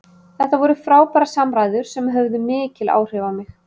Þetta voru frábærar samræður sem höfðu mikil áhrif á mig.